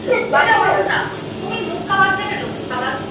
তুমি মুক্কাবাল দেখেছো মুক্কাবাল?